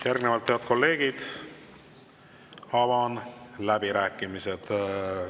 Järgnevalt, head kolleegid, avan läbirääkimised.